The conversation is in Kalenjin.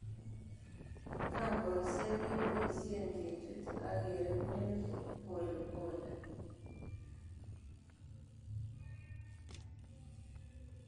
Kambosiek keboisie kechuti ak kereguni polepole.